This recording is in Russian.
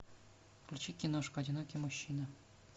включи киношку одинокий мужчина